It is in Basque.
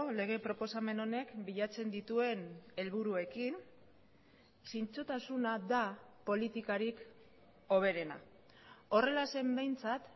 lege proposamen honek bilatzen dituen helburuekin zintzotasuna da politikarik hoberena horrela zen behintzat